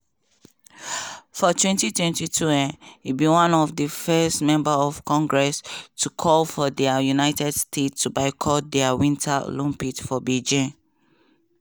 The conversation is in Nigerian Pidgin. for 2022 um e be one of di first members of congress to call for di united states to boycott di winter olympics for beijing.